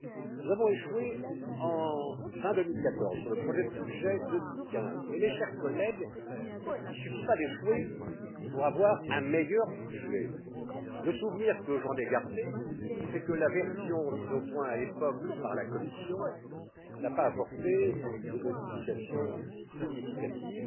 Nous avons échoué fin 2014 sur le projet de budget 2015 mais, mes chers collègues, il ne suffit pas d'échouer pour avoir un meilleur budget. Le souvenir que j'en ai gardé, c'est que la version mise au point à l'époque par la Commission n'a pas apporté de modifications significatives.